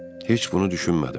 Heç bunu düşünmədim.